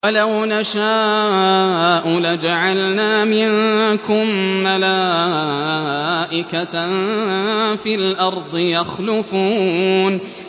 وَلَوْ نَشَاءُ لَجَعَلْنَا مِنكُم مَّلَائِكَةً فِي الْأَرْضِ يَخْلُفُونَ